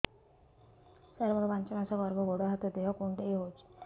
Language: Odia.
ସାର ମୋର ପାଞ୍ଚ ମାସ ଗର୍ଭ ଗୋଡ ହାତ ଦେହ କୁଣ୍ଡେଇ ହେଉଛି